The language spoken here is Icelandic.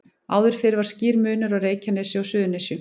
Áður fyrr var skýr munur á Reykjanesi og Suðurnesjum.